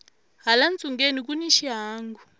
hala ntsungeni kuni xihangu